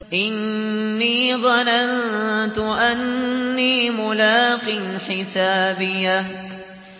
إِنِّي ظَنَنتُ أَنِّي مُلَاقٍ حِسَابِيَهْ